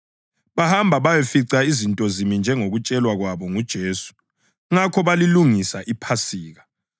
Bahamba bayafica izinto zimi njengokutshelwa kwabo nguJesu. Ngakho balilungisa iPhasika.